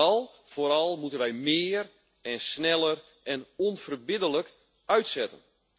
Maar vooral moeten wij meer en sneller en onverbiddelijk uitzetten.